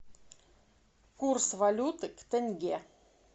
курс валюты в тенге